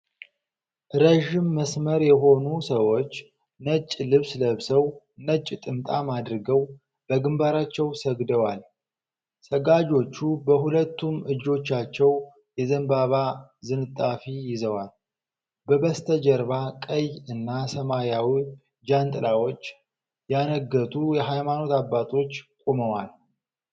ረዥም መስመር የሆኑ ሰዎች ነጭ ልብስ ለብሰው፣ ነጭ ጥምጥም አድርገው በግንባራቸው ሰግደዋል። ሰጋጆቹ በሁለቱም እጆቻቸው የዘንባባ ዝንጣፊ ይዘዋል። በበስተጀርባ ቀይ እና ሰማያዊ ጃንጥላዎች ያነገቱ የሃይማኖት አባቶች ቆመዋል።